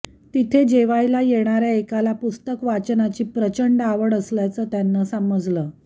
तिथे जेवायला येणाऱ्या एकाला पुस्तक वाचनाची प्रचंड आवड असल्याचं त्यांना समजलं